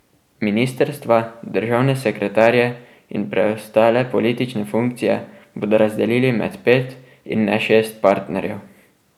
Ministrstva, državne sekretarje in preostale politične funkcije bodo razdelili med pet, in ne šest partnerjev.